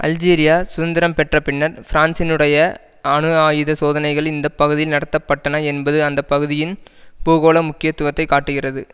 Algeria சுதந்திரம் பெற்ற பின்னர் பிரான்சினுடைய அணு ஆயுத சோதனைகள் இந்த பகுதியில் நடத்த பட்டன என்பது அந்த பகுதியின் பூகோள முக்கியத்துவத்தை காட்டுகிறது